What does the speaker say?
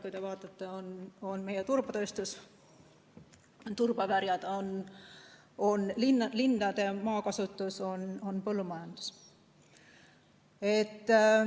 Kui te vaatate, meie turbatööstus, on turbaväljad, on linnade maakasutus, on põllumajandus.